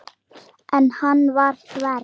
En hann var þver.